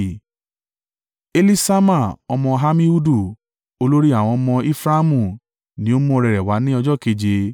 Eliṣama ọmọ Ammihudu, olórí àwọn ọmọ Efraimu ni ó mú ọrẹ rẹ̀ wá ní ọjọ́ keje.